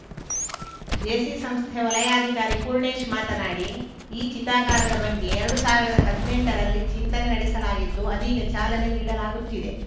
Jaycee ಸಂಸ್ಥೆ ವಲಯಾಧಿಕಾರಿ ಪೂರ್ಣೇಶ್‌ ಮಾತನಾಡಿ ಈ ಚಿತಾಗಾರದ ಬಗ್ಗೆ ಎರಡು ಸಾವಿರದ ಹದ್ನೆಂಟರಲ್ಲಿ ಚಿಂತನೆ ನಡೆಸಲಾಗಿತ್ತು ಅದೀಗ ಚಾಲನೆ ನೀಡಲಾಗುತ್ತಿದೆ